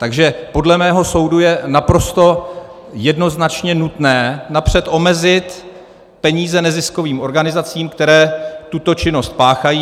Takže podle mého soudu je naprosto jednoznačně nutné napřed omezit peníze neziskovým organizacím, které tuto činnost páchají.